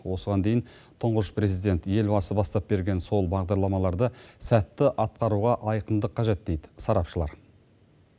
осыған дейін тұңғыш президент елбасы бастап берген сол бағдарламаларды сәтті атқаруға айқындық қажет дейді сарапшылар